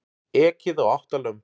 Ekið á átta lömb